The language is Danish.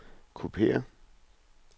kopiér